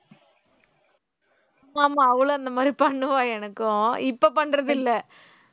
ஆமா அவளும் அந்த மாதிரி பண்ணுவா எனக்கும் இப்போ பண்றது இல்லை